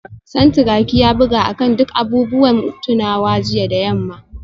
Santuraki ya buga akan duk abubuwan tunawa jiya da yamma